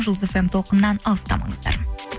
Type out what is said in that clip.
жұлдыз фм толқынынан алыстамаңыздар